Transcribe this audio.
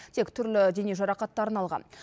тек түрлі дене жарақаттарын алған